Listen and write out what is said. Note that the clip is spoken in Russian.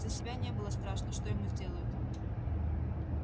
за себя не было страшно что ему сделают